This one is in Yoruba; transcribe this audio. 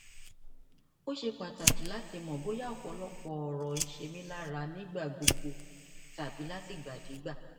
ó ṣe pàtàkì láti mọ bóyá ọpọlọpọ ọrọ ń ṣe mí lára nígbà gbogbo tàbí látìgbàdégbà